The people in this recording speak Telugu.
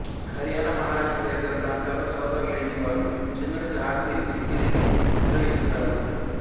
హరియాణా మహారాష్ట్ర తదితర ప్రాంతాల్లో సోదరులు లేని వారు చంద్రునికి హారతి ఇచ్చి దీనిని నిర్వహిస్తారు